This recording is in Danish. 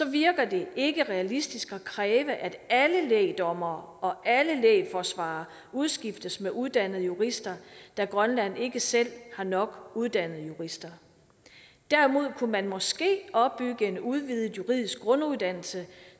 virker det ikke realistisk at kræve at alle lægdommere og alle lægforsvarere udskiftes med uddannede jurister da grønland ikke selv har nok uddannede jurister derimod kunne man måske opbygge en udvidet juridisk grunduddannelse